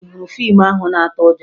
Ị hụrụ fiimu ahụ na-atụ ụjọ?